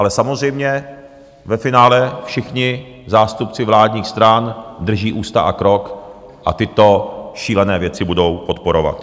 Ale samozřejmě, ve finále všichni zástupci vládních stran drží ústa a krok a tyto šílené věci budou podporovat.